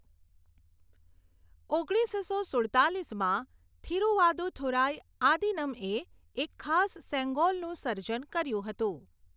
ઓગણીસસો સુડતાલીસમાં થિરુવાદુથુરાઈ આદીનમ્એ એક ખાસ સેંગોલનું સર્જન કર્યું હતું.